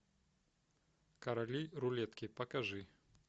короли рулетки покажи